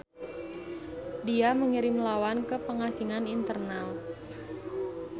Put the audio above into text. Dia mengirim lawan ke pengasingan internal.